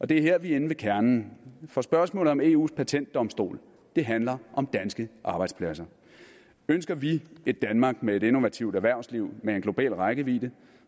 det er her vi er inde ved kernen for spørgsmålet om eus patentdomstol handler om danske arbejdspladser ønsker vi et danmark med et innovativt erhvervsliv med en global rækkevidde